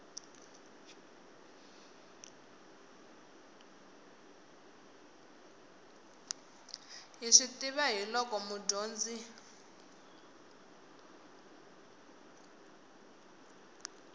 hi swi tiva hiolko mudyondzi